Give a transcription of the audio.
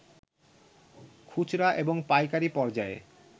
খুচরা এবং পাইকারি পর্যায়ে